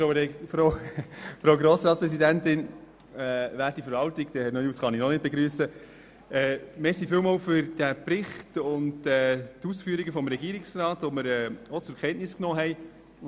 Vielen Dank für den Bericht und die Ausführungen des Regierungsrats, den wir zur Kenntnis genommen haben.